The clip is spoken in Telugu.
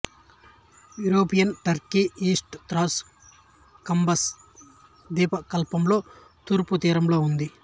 యురేపియన్ టర్కీ ఈస్ట్ త్రాస్ బకంస్ ద్వీపకల్పంలో తూర్పు తీరంలో ఉంది